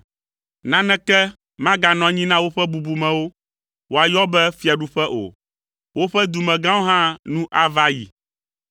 Naneke maganɔ anyi na woƒe bubumewo, woayɔ be fiaɖuƒe o. Woƒe dumegãwo hã nu ava ayi.